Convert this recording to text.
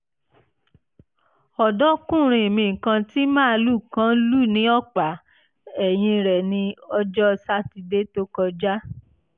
ọ̀dọ́kùnrin mi kan tí màlúù kan lù ní ọ̀pá ẹ̀yìn rẹ̀ ní ọjọ́ sátidé tó kọjá